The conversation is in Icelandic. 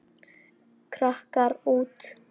Krakkar úr